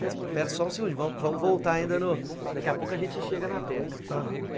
Mas pera só um segundo, vamos voltar ainda no... Daqui a pouco a gente chega na Teca.